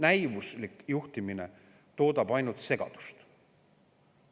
Näivuslik juhtimine toodab ainult segadust.